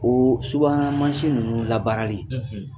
Oo subahana mansi ninnu labaarali